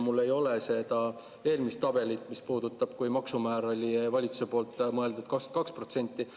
Mul ei ole seda eelmist tabelit, mis puudutas seda, kui maksumääraks oli valitsusel mõeldud 22%.